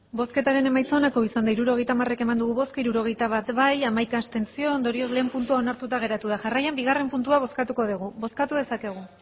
hirurogeita hamar eman dugu bozka hirurogeita bat bai hamaika abstentzio ondorioz lehen puntua onartuta geratu da jarraian bigarren puntua bozkatuko dugu bozkatu dezakegu